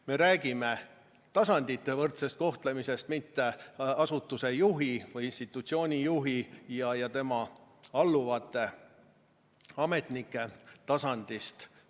Me räägime tasandite võrdsest kohtlemisest, mitte asutuse või institutsiooni juhi ja tema alluvate ametnike tasandist.